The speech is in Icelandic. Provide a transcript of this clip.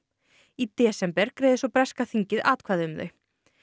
í desember greiðir breska þingið atkvæði um þau